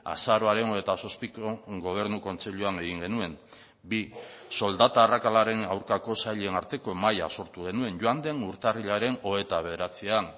azaroaren hogeita zazpiko gobernu kontseiluan egin genuen bi soldata arrakalaren aurkako sailen arteko mahaia sortu genuen joan den urtarrilaren hogeita bederatzian